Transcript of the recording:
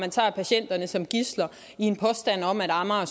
og tager patienterne som gidsler i en påstand om at amager